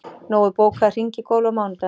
Nói, bókaðu hring í golf á mánudaginn.